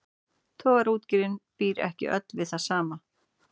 Togaraútgerðin býr ekki öll við það sama.